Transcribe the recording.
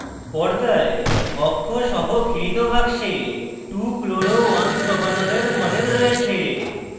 পর্দায় অক্ষ সহ ঘিরিত বাক্সে 2chloro1propanol এর model রয়েছে